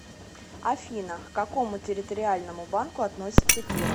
афина к какому территориальному банку относится киров